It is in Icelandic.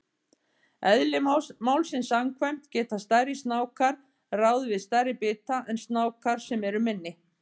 Eðli málsins samkvæmt geta stærri snákar ráðið við stærri bita en snákar sem eru minni.